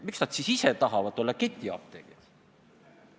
Miks nad siis ise tahavad ketiapteegid olla?